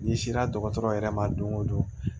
N'i sera dɔgɔtɔrɔ yɛrɛ ma don o don